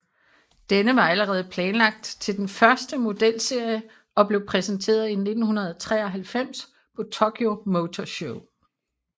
Denne var allerede planlagt til den første modelserie og blev præsenteret i 1993 på Tokyo Motor Show